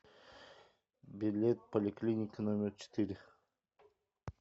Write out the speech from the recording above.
билет поликлиника номер четыре